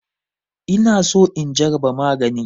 Ina so in jaraba magani.